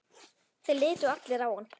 Þeir litu allir á hann.